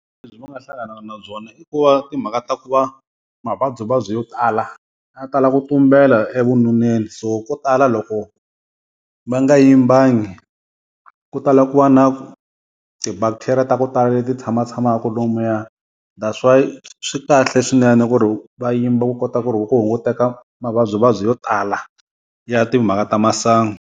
Lebyi va nga hlanganaka na byona i ku va timhaka ta ku va mavabyivabyi yo tala ya tala ku tumbela evununeni, so ko tala loko va nga yimbangi ku tala ku va na ti-bacteria ta ku tala leti tshamatshamaka lomuya, that's why swi kahle swinene ku ri va yimba ku kota ku ri ku ku hunguteka mavabyivabyi yo tala ya timhaka ta masangu.